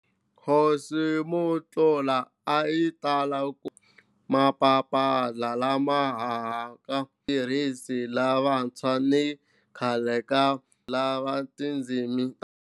Cosmoglotta a yi tala ku kombisa mapapila lama humaka eka vatirhisi lavantshwa ni khale ka vatirhisi va tindzimi tin'wana ta matiko hinkwawo, ngopfungopfu Xiesperanto na Ido, leswi tiyisekisaka ku olova ka ririmi leri.